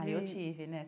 Aí eu tive, né?